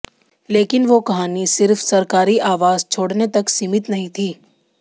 लेकिन वो कहानी सिर्फ सरकारी आवास छोड़ने तक सीमित नहीं थी